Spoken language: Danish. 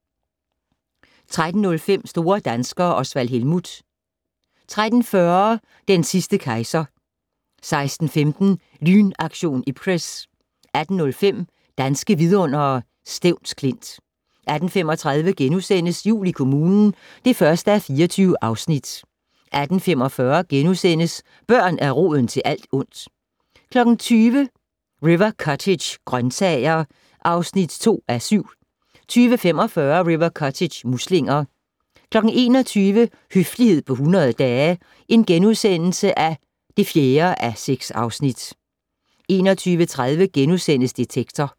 13:05: Store danskere - Osvald Helmuth 13:40: Den sidste kejser 16:15: Lynaktion Ipcress 18:05: Danske vidundere: Stevns Klint 18:35: Jul i kommunen (1:24)* 18:45: Børn er roden til alt ondt * 20:00: River Cottage - grøntsager (2:7) 20:45: River Cottage - muslinger 21:00: Høflighed på 100 dage (4:6)* 21:30: Detektor *